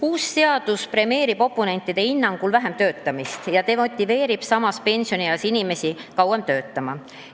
Uus seadus premeerib oponentide hinnangul vähem töötamist ja vähendab samas pensionieas inimeste motivatsiooni edasi töötada.